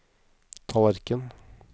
tallerken